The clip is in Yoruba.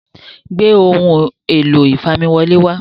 gbé Ohun èlò ìfamiwọlé wá